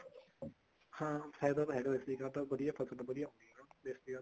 ਹਾਂ ਫਾਇਦਾ ਤਾਂ ਹੈਗਾ ਦੇਸੀ ਖਾਦ ਦਾ ਫਸਲ ਵਧੀਆ ਹੁੰਦੀ ਆ ਦੇਸੀ ਖਾਦ ਨਾਲ